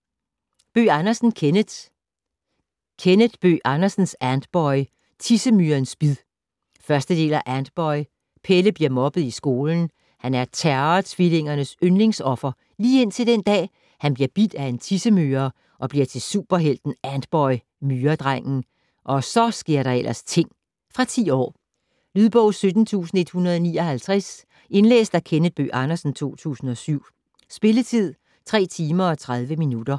Bøgh Andersen, Kenneth: Kenneth Bøgh Andersens Antboy - Tissemyrens bid 1. del af Antboy. Pelle bliver mobbet i skolen. Han er Terror-Tvillingernes yndlingsoffer, lige indtil den dag, han bliver bidt af en tissemyre - og bliver til superhelten Antboy - Myredrengen. Og så sker der ellers ting! Fra 10 år. Lydbog 17159 Indlæst af Kenneth Bøgh Andersen, 2007. Spilletid: 3 timer, 30 minutter.